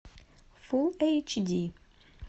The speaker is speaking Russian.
фулл эйч ди